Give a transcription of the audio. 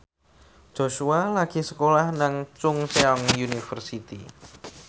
Joshua lagi sekolah nang Chungceong University